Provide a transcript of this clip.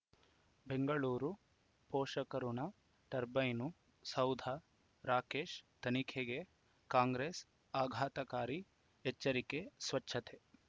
ಬೆಂಗಳೂರು ಪೋಷಕಋಣ ಟರ್ಬೈನು ಸೌಧ ರಾಕೇಶ್ ತನಿಖೆಗೆ ಕಾಂಗ್ರೆಸ್ ಆಘಾತಕಾರಿ ಎಚ್ಚರಿಕೆ ಸ್ವಚ್ಛತೆ